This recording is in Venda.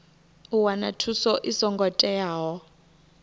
u wana thuso i songo teaho